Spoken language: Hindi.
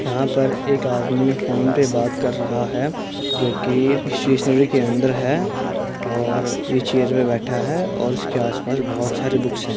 यहाँ पर एक आदमी फोन पे बात कर रहा हैं। जो कि स्टेसनरी के अंदर है और ये चेयर मे बैठा है और इस के आस पास बहोत सारे बुक्स हैं।